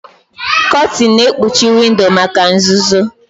Kotin na-ekpuchi windo maka nzuzo.